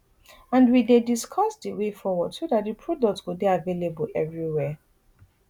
and we dey discuss di way forward so dat di product go dey available evriwia